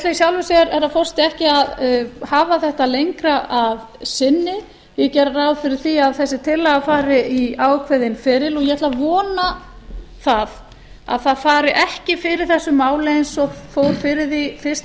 í sjálfu sér herra forseti að hafa þetta lengra að sinni ég geri ráð fyrir því að þessi tillaga fari í ákveðinn feril og ég ætla að vona að það fari ekki fyrir þessu máli eins og fór fyrir því fyrst